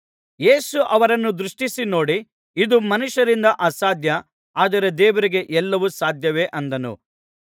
ಯೇಸು ಅವರನ್ನು ದೃಷ್ಟಿಸಿ ನೋಡಿ ಇದು ಮನುಷ್ಯರಿಂದ ಅಸಾಧ್ಯ ಆದರೆ ದೇವರಿಗೆ ಎಲ್ಲವು ಸಾಧ್ಯವೇ ಅಂದನು